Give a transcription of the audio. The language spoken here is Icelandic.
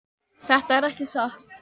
Þetta er ekki satt!